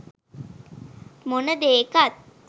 මොන දේකත්